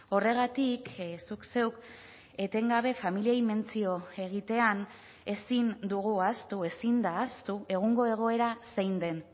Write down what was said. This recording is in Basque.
horregatik zuk zeuk etengabe familiei mentzio egitean ezin dugu ahaztu ezin da ahaztu egungo egoera zein den